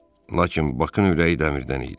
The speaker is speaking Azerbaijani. Lakin Bakın ürəyi dəmirdən idi.